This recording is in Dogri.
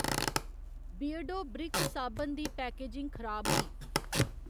बियरडो ब्रिक साबन दी पैकेजिंग खराब ही।